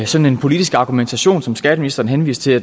sådan en politisk argumentation som skatteministeren henviste til